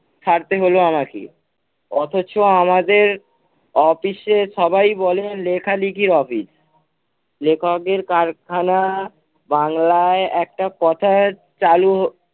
সারতে হলো আমাকে। অথচ আমাদের office এ সবাই বলেন লেখালেখির office লেখকের কারখানা বাংলায় একটা কথা চালু